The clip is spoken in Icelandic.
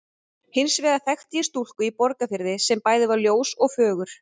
Hins vegar þekkti ég stúlku í Borgarfirði sem bæði var ljós og fögur.